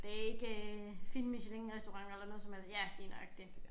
Det ikke øh fine michelinrestauranter eller noget som helst ja lige nøjagtig